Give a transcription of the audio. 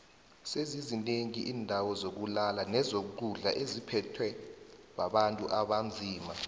sezizi nengi indawo zokulala nezokudlo etziphethwe bontu abanzima